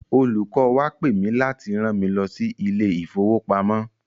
Olùkọ́ wa pe mì láti rán mi lọ sí ilé ìfowopamọ́.